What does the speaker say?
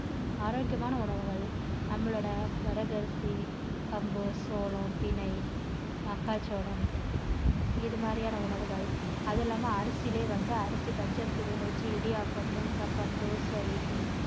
ஆரோக்கியமான உணவுகள் நம்மளோட வரகரிசி, கம்பு, சோளம், திணை, மக்காச் சோளம் இது மாதிரியான உணவுகள் அது இல்லாம அரிசியிலேயே வந்து அரிசி, பச்சை அரிசிய வேக வச்சி இடியாப்பம், ஊத்தாப்பம், தோசை, இட்லி